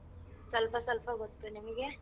ಸಲ್ಪ ಸಲ್ಪ ಗೊತ್ತು ನಿಮಿಗೆ?